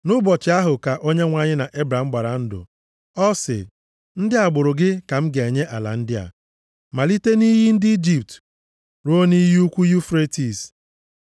Nʼụbọchị ahụ ka Onyenwe anyị na Ebram gbara ndụ. Ọ sị, “Ndị agbụrụ gị ka m ga-enye ala ndị a, malite nʼiyi ndị Ijipt ruo nʼiyi ukwu Yufretis.